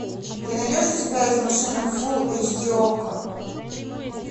ты найдешь у себя из машины фулл эйч ди окко